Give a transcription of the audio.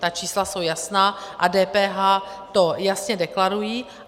Ta čísla jsou jasná a DPH to jasně deklarují.